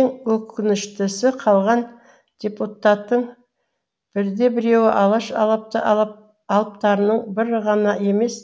ең өкініштісі қалған депутаттың бірде біреуі алаш алыптарының бірі ғана емес